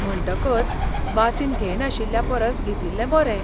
म्हणटकच वासीन घेयनाशिल्ल्या परस घेतिल्ले बरें.